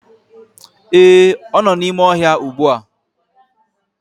Ee, ọ nọ n'ime ọhịa ugbu a!